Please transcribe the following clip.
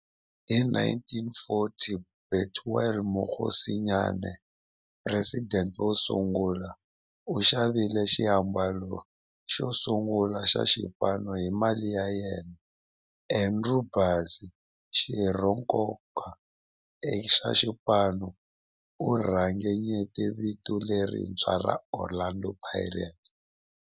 Hi 1940, Bethuel Mokgosinyane, president wosungula, u xavile xiambalo xosungula xa xipano hi mali ya yena. Andrew Bassie, xirho xa nkoka xa xipano, u ringanyete vito lerintshwa ra 'Orlando Pirates'.